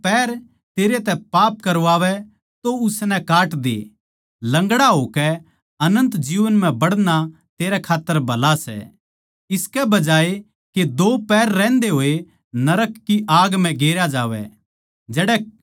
जै तेरा पैर तन्नै पाप करवावै तो उसनै काट दे लंगड़ा होकै अनन्त जीवन म्ह बड़ना तेरै खात्तर भला सै इसके बजाये के दो पैर रहंदे होये नरक की आग म्ह गेरया जावै